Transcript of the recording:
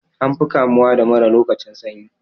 An fi kamuwa da mura lokacin sanyi.